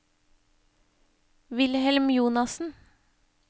Wilhelm Jonassen